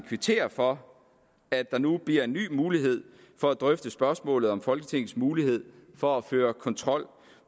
kvittere for at der nu bliver en ny mulighed for at drøfte spørgsmålet om folketingets mulighed for at føre kontrol